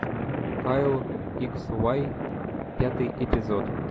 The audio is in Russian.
кайл икс вай пятый эпизод